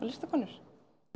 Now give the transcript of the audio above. listakonur